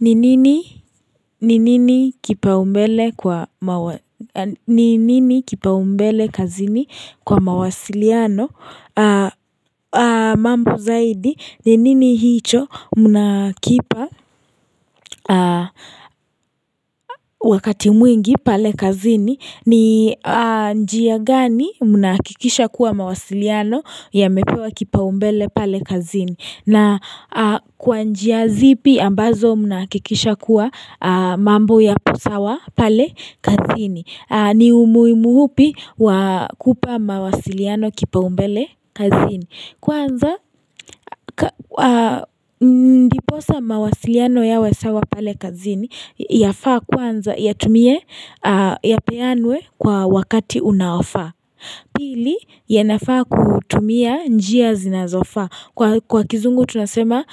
Ni nini kipaumbele kazini kwa mawasiliano mambo zaidi ni nini hicho mnakipa wakati mwingi pale kazini ni njia gani mnahakikisha kuwa mawasiliano yamepewa kipaumbele pale kazini na kwa njia zipi ambazo mnahakikisha kuwa mambo yapo sawa pale kazini ni umuhimu upi wa kupa mawasiliano kipaumbele kazini Kwanza ndiposa mawasiliano yawe sawa pale kazini Yafaa kwanza ya tumie yapeanwe kwa wakati unaofa Pili yanafaa kutumia njia zinazofa Kwa kizungu tunasema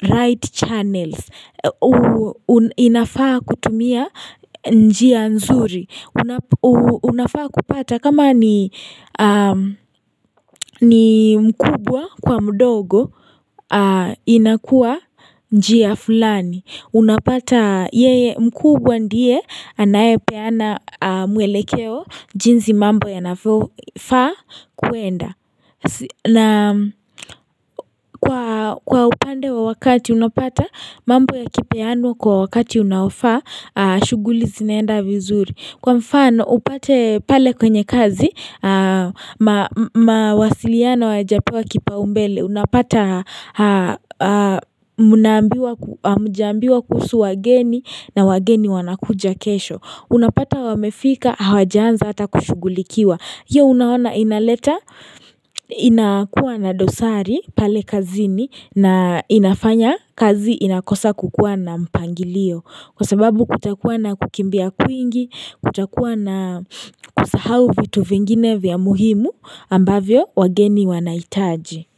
right channels unafaa kutumia njia nzuri unafaa kupata kama ni mkubwa kwa mdogo inakua njia fulani. Unapata yeye mkubwa ndiye anayepeana mwelekeo jinsi mambo yanafaa kuenda na kwa upande wa wakati unapata mambo ya kipeanwa kwa wakati unaofaa, shughuli zinaenda vizuri. Kwa mfano upate pale kwenye kazi mawasiliano hayajapewa kipaumbele unapata hamjaambiwa kuhusu wageni na wageni wanakuja kesho. Unapata wamefika hawajaanza hata kushugulikiwa. Hiyo unaona inaleta inakuwa na dosari pale kazini na inafanya kazi inakosa kukuwa na mpangilio Kwa sababu kutakuwa na kukimbia kwingi, kutakuwa na kusahau vitu vingine vya muhimu ambavyo wageni wanaitaji.